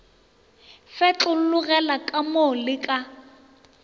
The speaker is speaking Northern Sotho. fetlologela ka mo le ka